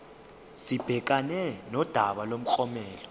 sibhekane nodaba lomklomelo